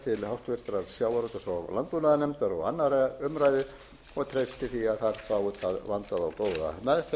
sjávarútvegs og landbúnaðarnefndar og annarrar umræðu og treysti því að þar fái það vandaða og góða meðferð